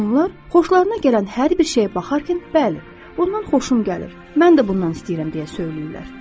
Onlar xoşlarına gələn hər bir şeyə baxarkən, bəli, bundan xoşum gəlir, mən də bundan istəyirəm deyə söyləyirlər.